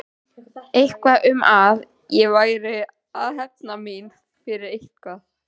Eitthvað um að ég væri að hefna mína fyrir eitthvað.